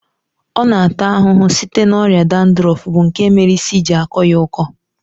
Ọ na ata ahụhụ site na ọrịa dandrọfu bụ nke mere isi ji akọ ya ọkọ